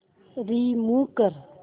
remove कर